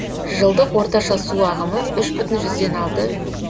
жылдық орташа су ағымы үш бүтін жүзден алты